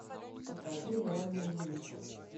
покажи реальный вымысел